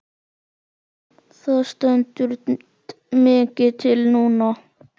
Það stendur mikið til núna.